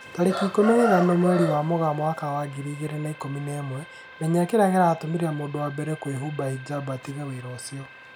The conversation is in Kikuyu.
Tarĩki ikũmi na ithano mweri wa Mũgaa mwaka wa ngiri igĩrĩ na ikũmi na ĩmwe, Menya kĩrĩa gĩatũmire mũndũ wa mbere kwĩhumba hijab 'atige wĩra ũcio.